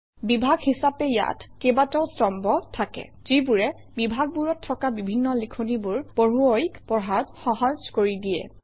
বিভাগ হিচাপে ইয়াত কেইবাটাও স্তম্ভ থাকে যিবোৰে বিভাগবোৰত থকা বিভিন্ন লিখনিবোৰ পঢ়ুৱৈক পঢ়াত সহজ কৰি দিয়ে